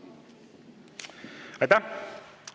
Aitäh!